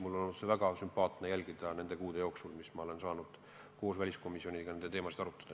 Mul on olnud seda väga sümpaatne jälgida nende kuude jooksul, kui ma olen saanud koos väliskomisjoniga neid teemasid arutada.